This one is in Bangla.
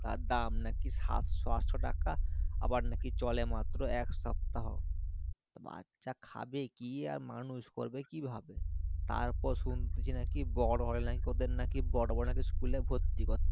তার দাম নাকি সাতশো আটশো টাকা আবার নাকি চলে নাকি মাত্র এক সপ্তহ বাচ্ছা খাবে কি আর মানুষ করবে কি ভাবে তার পর শুনছি নাকি বড়ো হলে নাকি বড়ো বড়ো school এ নাকি ভর্তি হবে